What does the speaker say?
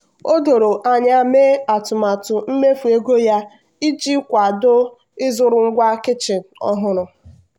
o doro anya mee atụmatụ mmefu ego ya iji kwado ịzụrụ ngwa kichin ọhụrụ.